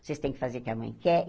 Vocês têm que fazer o que a mãe quer.